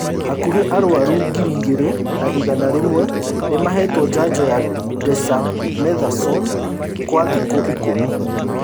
Hakuhĩ arwaru ngiri igĩrĩ na igana rĩmwe nĩmahetwo njanjo ya dexamethasone kwa thikũ ikũmi